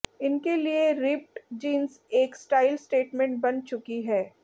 इनके लिए ripped jeans एक स्टाइल स्टेटमेंट बन चुकी है